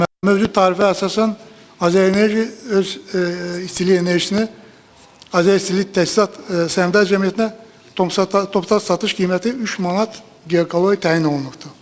mövcud tarifə əsasən Azərenerji öz istilik enerjisini Azəristilik Təsisat Səhmdar Cəmiyyətinə toptan satış qiyməti 3 manat giqakaloriyə təyin olunubdur.